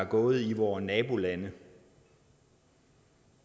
gået i vore nabolande